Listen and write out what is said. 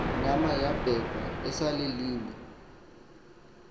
nama yabekwa ecaleni